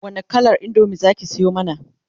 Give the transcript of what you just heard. wani kalar indomie zaki Sayo mana?